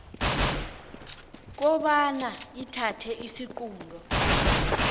kobana ithathe isiqunto